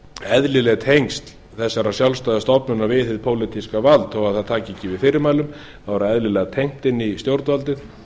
eðlileg tengsl þessarar sjálfstæðu stofnunar við hið pólitíska vald þó það taki ekki við fyrirmælum er það eðlilega tengt inn í stjórnvaldið